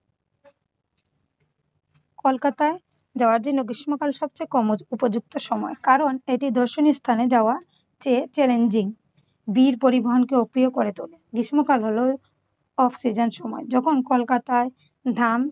কলকাতায় জরাজীর্ণ গ্রীষ্মকাল সবচেয়ে কম উপযুক্ত সময়। কারণ এটি দর্শনীয় স্থানে যাওয়া যে challenging পরিবহণকেও অপ্রিয় করে তোলে। গ্রীষ্মকাল হলো off season সময়। যখন কলকাতায় ধান